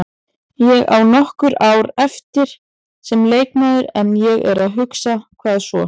Ég á nokkur ár eftir sem leikmaður en ég er að hugsa, hvað svo?